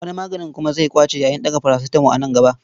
Wani maganin kuma zai ƙwace yayin daga parasitamo a nan gaba.